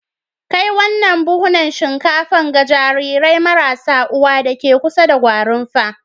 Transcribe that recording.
Kai wannan buhunan shinkafa ga jarirai marasa uwa deke kusa da Gwarimpa.